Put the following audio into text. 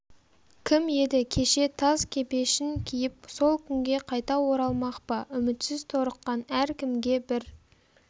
кім еді кеше таз кепешін киіп сол күнге қайта оралмақ па үмітсіз торыққан әр кімге бір